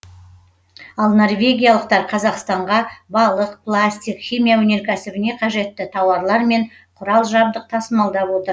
ал норвегиялықтар қазақстанға балық пластик химия өнеркәсібіне қажетті тауарлар мен құрал жабдық тасымалдап отыр